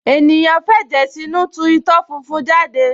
ènìyàn f’ẹ̀jẹ̀ sínú tu itọ́ funfun jáde